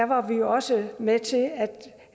var vi også med til